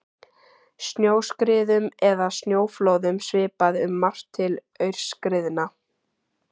Snjóskriðum eða snjóflóðum svipar um margt til aurskriðna.